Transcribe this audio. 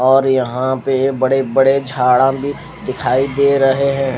और यहाँ पे बड़े बड़े झाडा भी लगे झाडा भी दिखाई दे रहे है।